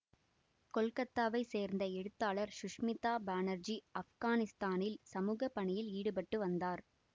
கொல்கத்தாவை சேர்ந்த எழுத்தாளர் சுஷ்மிதா பானர்ஜி ஆப்கானிஸ்தானில் சமூக பணியில் ஈடுபட்டு வந்தார்